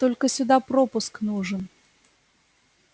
только сюда пропуск нужен